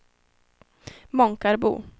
Månkarbo